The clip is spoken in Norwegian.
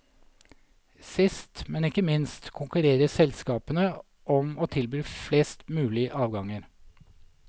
Sist, men ikke minst, konkurrerer selskapene om å tilby flest mulig avganger.